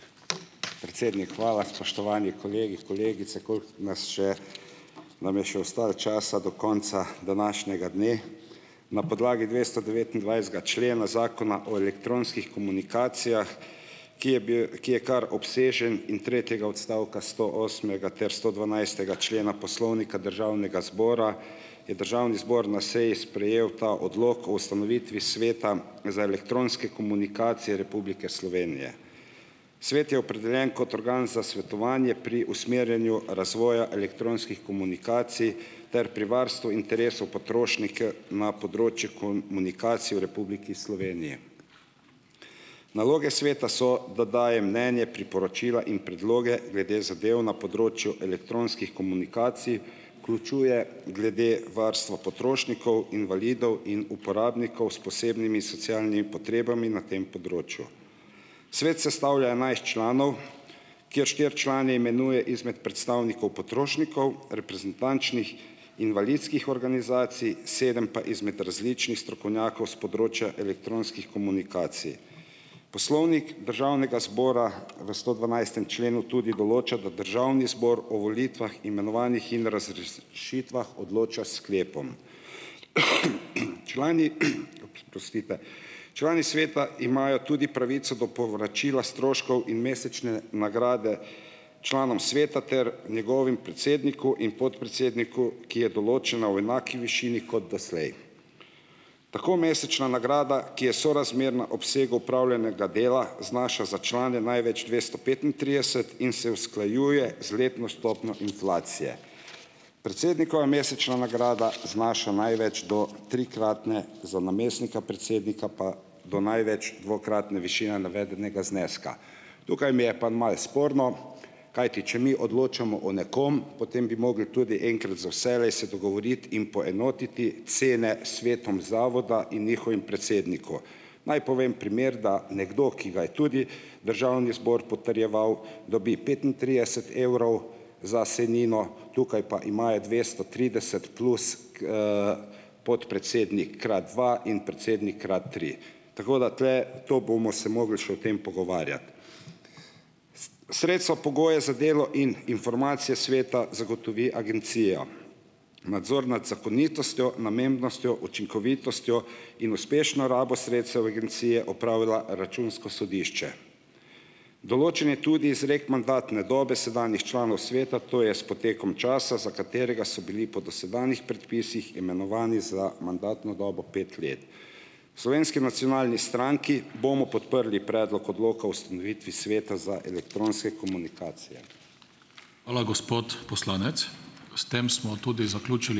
Predsednik, hvala. Spoštovani kolegi, kolegice, koliko nas še nam je še ostalo časa, do konca današnjega dne. Na podlagi dvestodevetindvajsetega člena Zakona o elektronskih komunikacijah, ki je ki je kar obsežen in tretjega odstavka stoosmega ter stodvanajstega člena Poslovnika Državnega zbora, je državni zbor na seji sprejel ta odlok o ustanovitvi Sveta za elektronske komunikacije Republike Slovenije. Svet je opredeljen kot organ za svetovanje pri usmerjanju razvoja elektronskih komunikacij ter pri varstvu interesov potrošnike na področju komunikacij v Republiki Sloveniji. Naloge Sveta so, da daje mnenje, priporočila in predloge glede zadev na področju elektronskih komunikacij, vključuje glede varstva potrošnikov, invalidov in uporabnikov s posebnimi socialnimi potrebami na tem področju. Svet sestavlja enajst članov, kjer štiri člane imenuje izmed predstavnikov potrošnikov, reprezentančnih invalidskih organizacij, sedem pa izmed različnih strokovnjakov s področja elektronskih komunikacij. Poslovnik Državnega zbora v stodvanajstem členu tudi določa, da državni zbor o volitvah, imenovanjih in razrešitvah odloča s sklepom. Člani, oprostite, člani Sveta imajo tudi pravico do povračila stroškov in mesečne nagrade članom Sveta ter njegovem predsedniku in podpredsedniku, ki je določena v enaki višini kot doslej. Tako mesečna nagrada, ki je sorazmerna obsegu opravljenega dela, znaša za člane največ dvesto petintrideset in se usklajuje z letno stopnjo inflacije. Predsednikova mesečna nagrada znaša največ do trikratne, za namestnika predsednika pa do največ dvakratne višine navedenega zneska. Tukaj mi je pa malo sporno, kajti če mi odločamo o nekom, potem bi mogli tudi enkrat za vselej se dogovoriti in poenotiti cene s svetom zavoda in njihovim predsedniku. Naj povem primer, da nekdo, ki ga je tudi državni zbor potrjeval, dobi petintrideset evrov za sejnino, tukaj pa imajo dvesto trideset plus, podpredsednik krat dva in predsednik krat tri, tako da tule to bomo se mogli še o tem pogovarjati. sredstva pogojev za delo in informacije sveta zagotovi agencija. Nadzor nad zakonitostjo, namembnostjo, učinkovitostjo in uspešno rabo sredstev agencije opravlja Računsko sodišče. Določen je tudi izrek mandatne dobe sedanjih članov sveta, to je s potekom časa, za katerega so bili po dosedanjih predpisih imenovani za mandatno dobo pet let. V Slovenski nacionalni stranki bomo podprli predlog odloka o ustanovitvi Sveta za elektronske komunikacije.